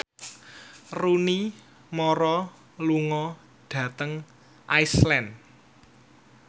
Rooney Mara lunga dhateng Iceland